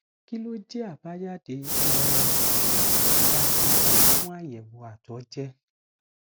kí ló jẹ abajade um daadaa fun ayewo ato je